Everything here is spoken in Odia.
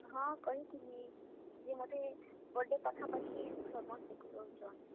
ହଁ, କହିଥିଲି, ଯେ ମତେ birthday ପାଖା ପାଖି ସମସ୍ତେ କହୁଛନ୍।